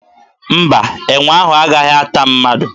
Mba, enwe ahụ agaghị ata mmadụ.